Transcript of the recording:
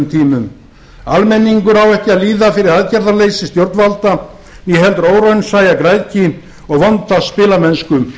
tímum almenningur á ekki að líða fyrir aðgerðarleysi stjórnvalda né heldur óraunsæja græðgi og vonda spilamennsku